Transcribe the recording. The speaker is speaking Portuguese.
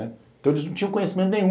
Então eles não tinham conhecimento nenhum.